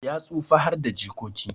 Ya tsufa harda jikoki